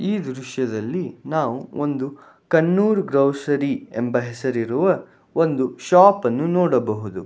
ಈ ದೃಶ್ಯದಲ್ಲಿ ನಾವು ಒಂದು ಖನ್ನೂರು ಗ್ರೋಸರಿ ಎಂಬ ಹೆಸರಿರುವ ಒಂದು ಶಾಪ್ ಅನ್ನು ನೋಡಬಹುದು.